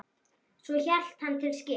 Svo hélt hann til skips.